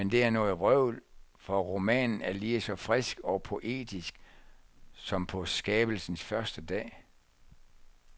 Men det er noget vrøvl, for romanen er lige så frisk og poetisk som på skabelsens første dag.